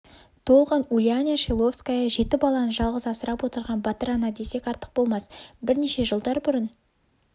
толған ульяна шиловская жеті баланы жалғыз асырап отырған батыр ана десек артық болмас рнеше жылдар бұрын